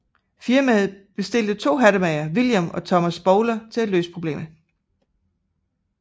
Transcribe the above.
Firmaet bestilte de to hattemagere William og Thomas Bowler til at løse problemet